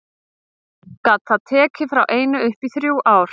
Gat það tekið frá einu upp í þrjú ár.